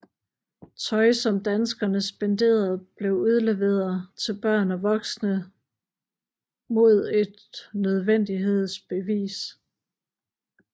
Tøj som danskerne spenderede blev udleveret til børn og voksne modet nødvendighedsbevis